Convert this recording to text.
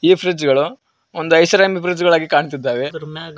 ಇದು ಫ್ರಿಜ್ ಗಳು ಒಂದು ಐಷಾರಾಮಿ ಫ್ರಿಜ್ ಗಳಾಗಿ ಕಾಣುತ್ತಿದ್ದಾವೆ.